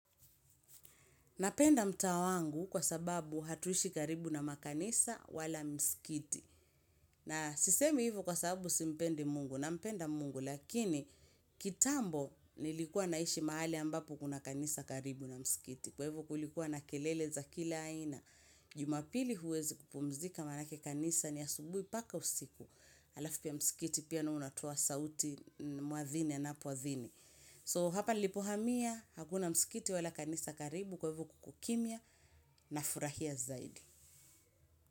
Napenda mtaa wangu kwa sababu hatuishi karibu na makanisa wala mskiti. Na sisemi hivo kwa sababu simpendi mungu na mpenda mungu lakini kitambo nilikua naishi mahali ambapo kuna kanisa karibu na mskiti. Kwa hivo kulikuwa na kelele za kila aina jumapili huwezi kupumzika manake kanisa ni asubui paka usiku. Alafu pia mskiti pia nao unatoa sauti muadhini anapoadhini. So hapa nilipohamia, hakuna msikiti wala kanisa karibu kwa hivo kukokimia nafurahia zaidi.